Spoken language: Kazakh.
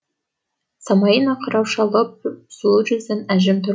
самайын ақ қырау шалып сұлу жүзін әжім тор